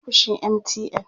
zamu Kai ziyara ofishin MTN